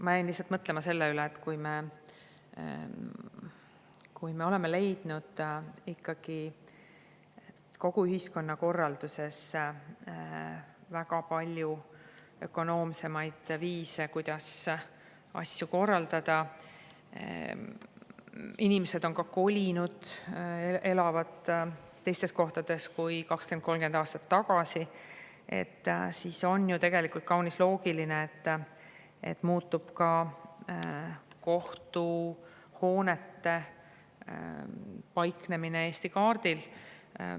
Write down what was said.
Ma jäin lihtsalt mõtlema selle üle, et kui me oleme leidnud ikkagi kogu ühiskonnakorralduses väga palju ökonoomsemaid viise, kuidas asju korraldada – inimesed on ka kolinud, elavad teistes kohtades kui 20–30 aastat tagasi –, siis on ju tegelikult kaunis loogiline, et muutub ka kohtuhoonete paiknemine Eesti kaardil.